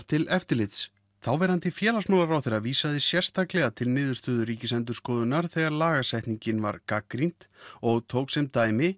til eftirlits þáverandi félagsmálaráðherra vísaði sérstaklega til niðurstöðu Ríkisendurskoðunar þegar lagasetningin var gagnrýnd og tók sem dæmi